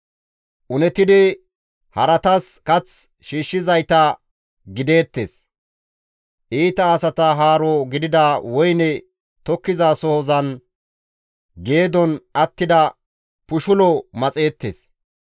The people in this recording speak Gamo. Unetidi haratas kath shiishshizayta gideettes; iita asata haaro gidida woyne tokkizasohozan geedon attida pushulo maxeettes.